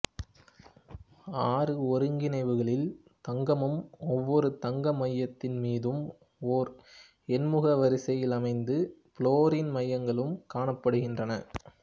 ஆறு ஒருங்கிணைவுகளில் தங்கமும் ஒவ்வொரு தங்கம் மையத்தின் மீதும் ஓர் எண்முக வரிசையிலமைந்த புளோரின் மையங்களும் காணப்படுகின்றன